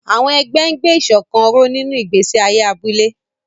Àwọn ẹgbẹ́ ń gbé ìṣọ̀kan ró nínú ìgbésí ayé abúlé.